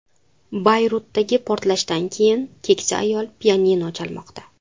Bayrutdagi portlashdan keyin keksa ayol pianino chalmoqda.